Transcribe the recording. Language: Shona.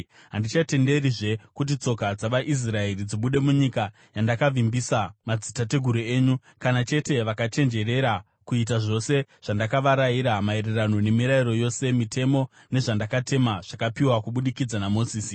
Handichatenderizve kuti tsoka dzavaIsraeri dzibude munyika yandakavimbisa madzitateguru enyu. Kana chete vakachenjerera kuita zvose zvandakavarayira maererano nemirayiro yose, mitemo, nezvandakatema zvakapiwa kubudikidza naMozisi.”